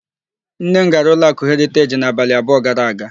Nne m gara ụlọakụ Heriteji n'abalị abụọ gara aga.